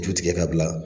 Ju tigɛ ka bila